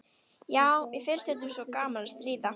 Já, mér finnst stundum svo gaman að stríða.